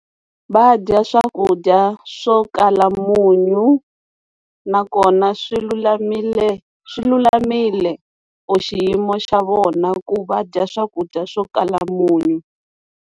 Va dya swakudya swo kala munyu nakona swi lulamile swi lulamile u xiyimo xa vona ku va dya swakudya swo kala munyu.